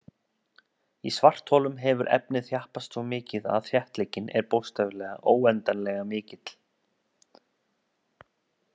Í svartholum hefur efnið þjappast svo mikið að þéttleikinn er bókstaflega óendanlega mikill.